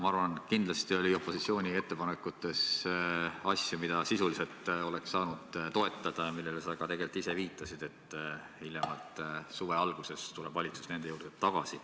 Ma arvan, et kindlasti oli opositsiooni ettepanekutes asju, mida sisuliselt oleks saanud toetada ja millele sa tegelikult ka ise viitasid, öeldes, et hiljemalt suve alguses tuleb valitsus nende juurde tagasi.